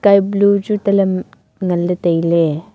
sky blue chu tale ngan ley taile.